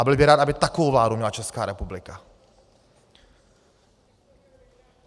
A byl bych rád, aby takovou vládu měla Česká republika.